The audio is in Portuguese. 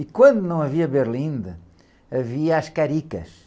E quando não havia berlinde, havia as caricas.